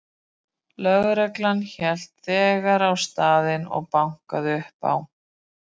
Lögreglan hélt þegar á staðinn og bankaði upp á.